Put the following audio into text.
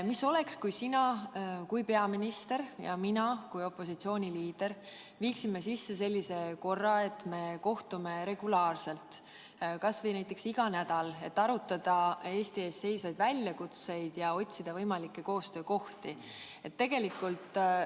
Mis oleks, kui sina kui peaminister ja mina kui opositsiooniliider viiksime sisse sellise korra, et kohtume regulaarselt kas või näiteks iga nädal, et arutada Eesti ees seisvaid väljakutseid ja otsida võimalikke koostöökohti?